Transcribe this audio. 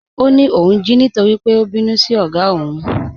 Ọ ní óun jí nítorí pé ó bínú sí ogá ọ́ún.